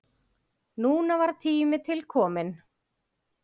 Núna var tími til kominn.